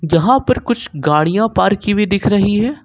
यहां पर कुछ गाड़ियां पार्क की हुई दिख रही है।